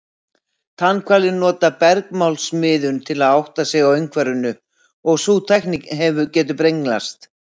Tannhvalir nota bergmálsmiðun til að átta sig á umhverfinu og sú tækni getur brenglast.